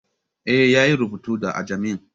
Eh, ya yi rubutun da ajami